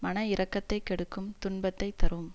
மன இரக்கத்தைக் கெடுக்கும் துன்பத்தை தரும்